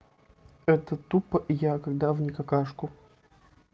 это тупо я когда в не какашку